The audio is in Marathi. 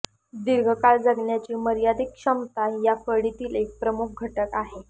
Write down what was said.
दीर्घ काळ जगण्याची मर्यादित क्षमता या फळीतील एक प्रमुख घटक आहे